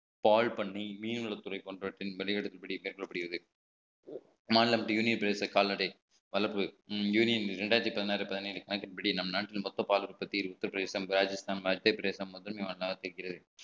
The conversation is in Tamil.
பால் பண்ணி மீன்வளத்துறை போன்றவற்றின் வெளியிடும்படி கேட்கப்படுகிறது மாநிலம் யூனியன் பிரதேச கால்நடை வளர்ப்பு யூனியன் ரெண்டாயிரத்தி பதினாறு பதினேழு கணக்கின்படி நம் நாட்டின் மொத்த பால் உற்பத்தி உத்திரபிரதேசம் ராஜஸ்தான் மத்திய பிரதேசம் முதன்மை மாநிலமாக இருக்கிறது